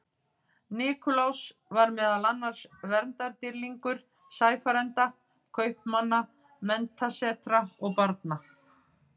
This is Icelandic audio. Nikulás var meðal annars verndardýrlingur sæfarenda, kaupmanna, menntasetra og barna.